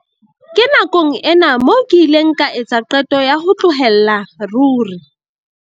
"Ke nakong ena moo ke ileng ka etsa qeto ya ho tlohella ruri."